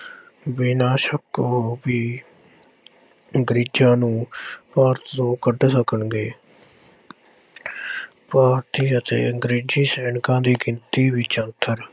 ਬਿਨਾਂ ਸ਼ੱਕ ਉਹ ਵੀ ਅੰਗਰੇਜ਼ਾਂ ਨੂੰ ਭਾਰਤ ਤੋਂ ਕੱਢ ਸਕਣਗੇ ਭਾਰਤੀ ਅਤੇ ਅੰਗਰੇਜ਼ੀ ਸੈਨਿਕਾਂ ਦੀ ਗਿਣਤੀ ਵਿੱਚ ਅੰਤਰ,